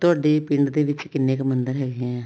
ਤੁਹਾਡੇ ਪਿੰਡ ਦੇ ਵਿੱਚ ਕਿੰਨੇ ਕੁ ਮੰਦਰ ਹੈਗੇ ਆ